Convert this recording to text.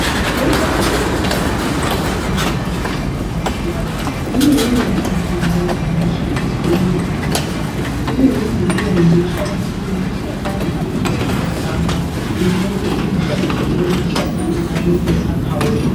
Mitombo yedu yechiNdau inoshandiswe ngenjira dzakasiyana. Kune imweni mitombo inoshandiswe midzi dzega. Kune imweniwo inoshandiswe mashakani anenge akatamba. Imweni inoshandiswewo mashakani anenge akaoma.